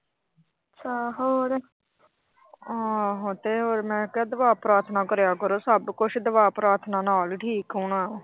ਹਾਂ ਤੇ ਮੈਂ ਕਿਹਾ ਦੁਆ ਪ੍ਰਾਥਨਾ ਕਰਿਆ ਕਰੋ। ਸਭ ਕੁਛ ਦੁਆ ਪ੍ਰਾਥਨਾ ਨਾਲ ਹੋਣਾ।